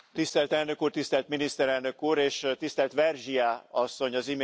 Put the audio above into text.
Tisztelt Elnök Úr, tisztelt Miniszterelnök Úr és tisztelt Vergiat Asszony!